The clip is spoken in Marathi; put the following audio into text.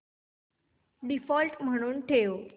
डिफॉल्ट म्हणून ठेव